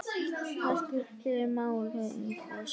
Það skiptir máli í þessu.